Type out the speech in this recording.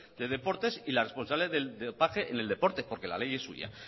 de deportes y la responsable de dopaje en el deporte porque la ley es suya